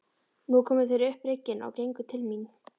Nú komu þeir upp bryggjuna og gengu til mín.